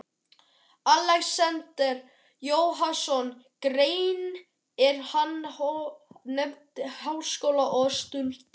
Alexander Jóhannesson grein, er hann nefndi Háskóli og Stúdentagarður.